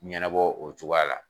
Ɲɛnɛbɔ o cogoya la.